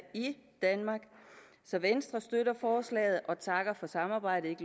danmark så venstre støtter forslaget og takker for samarbejdet